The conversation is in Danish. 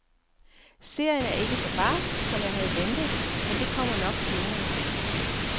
Serien er ikke så barsk, som jeg havde ventet, men det kommer nok senere.